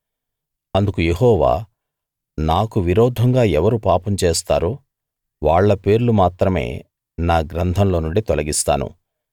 అందుకు యెహోవా నాకు విరోధంగా ఎవరు పాపం చేస్తారో వాళ్ళ పేర్లు మాత్రమే నా గ్రంథంలో నుండి తొలగిస్తాను